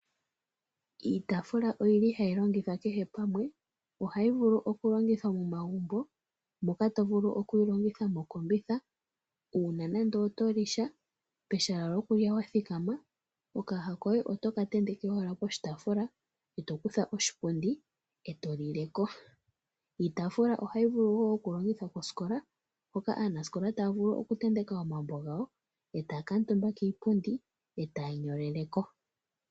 Iitaafula ohayi longithwa kehe pamwe. Ohayi vulu okulongithwa momagumbo moka to vulu okuyi longitha mokombitha, uuna nando oto li sha pehala lyokulya wa thikama, okayaha koye oto ka tenteke owala poshitaafula, e to kutha oshipundi e to lile ko. Iitafula ohayi vulu okulongithwa kosikola mpoka aanasikola taa vulu okutenteka po omambo gawo e taa kuutumba kiipundi e taa nyolele ko.